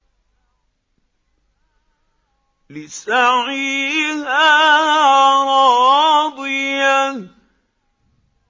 لِّسَعْيِهَا رَاضِيَةٌ